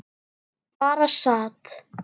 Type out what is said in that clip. Bara sat.